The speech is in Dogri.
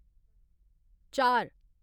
चार